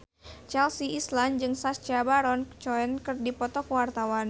Chelsea Islan jeung Sacha Baron Cohen keur dipoto ku wartawan